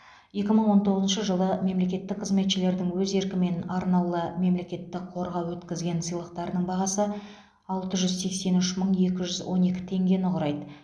екі мың он тоғызыншы жылы мемлекеттік қызметшілердің өз еркімен арнаулы мемлекеттік қорға өткізген сыйлықтарының бағасы алты жүз сексен үш мың екі жүз он екі теңгені құрайды